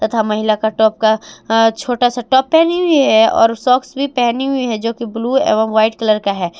तथा महिला का टॉप का छोटा सा टॉप पहनी हुई है और सॉक्स भी पहनी हुई है जो की ब्लू एवं व्हाइट कलर का है।